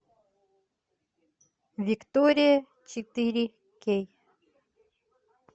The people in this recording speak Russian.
виктория четыре кей